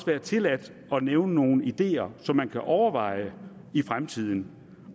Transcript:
være tilladt at nævne nogle ideer som man kan overveje i fremtiden